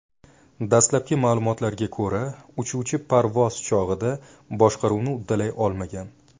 Dastlabki ma’lumotlarga ko‘ra, uchuvchi parvoz chog‘ida boshqaruvni uddalay olmagan.